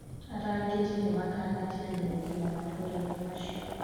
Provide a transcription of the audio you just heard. Arangeri nimakanitie andũ gũkinya matũraini macio.